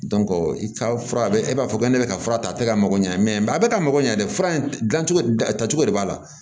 i ka fura e b'a fɔ ko ne bɛ ka fura ta a tɛ ka mago ɲa mɛ a bɛ ka mago ɲɛ dɛ fura in dilan cogo tacogo de b'a la